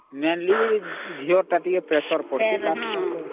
mainly ଝିଅ ଟା ଟିକେ Pressure ପଡୁଛି